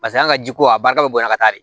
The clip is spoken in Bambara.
Paseke an ka jiko a barika bɛ bonya ka taa de